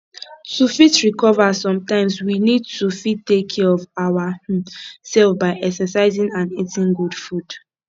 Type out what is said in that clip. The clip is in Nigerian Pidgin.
to fit recover sometimes we need to fit take care of our um self by exercising and eating good food